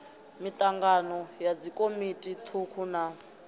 mitangano ya dzikomiti thukhu na